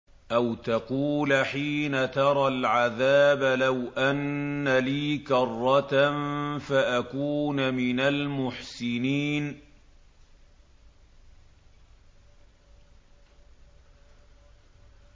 أَوْ تَقُولَ حِينَ تَرَى الْعَذَابَ لَوْ أَنَّ لِي كَرَّةً فَأَكُونَ مِنَ الْمُحْسِنِينَ